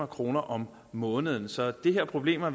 kroner om måneden så de her problemer